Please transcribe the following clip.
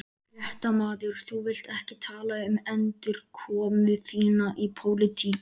Fréttamaður: Þú vilt ekki tala um endurkomu þína í pólitík?